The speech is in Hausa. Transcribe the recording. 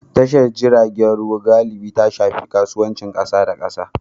Tashar jiragen ruwa galibi ta shafi kasuwancin kasa da kasa.